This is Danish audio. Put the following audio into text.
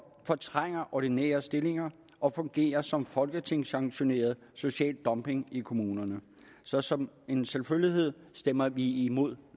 fortrænger ordinære stillinger og fungerer som folketingssanktioneret social dumping i kommunerne så som en selvfølgelighed stemmer vi imod